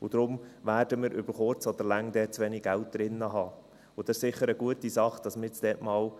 Deshalb werden wir über kurz oder lang zu wenig Geld darin haben, und es ist sicher eine gute Sache, dass wir dort